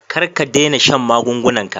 Kar ka dena shan magungunan ka.